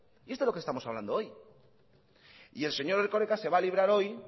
y de esto es lo que estamos hablando hoy el señor erkoreka se va librar hoy